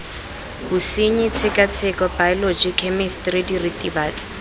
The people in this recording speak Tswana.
bosenyi tshekatsheko baeoloji khemisitiri diritibatsi